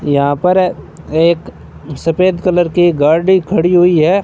यहां पर एक सफेद कलर की गाड़ी खड़ी हुई है।